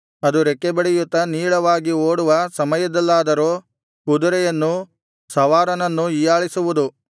ಅದು ರೆಕ್ಕೆಬಡಿಯುತ್ತಾ ನೀಳವಾಗಿ ಓಡುವ ಸಮಯದಲ್ಲಾದರೋ ಕುದುರೆಯನ್ನೂ ಸವಾರನನ್ನೂ ಹೀಯಾಳಿಸುವುದು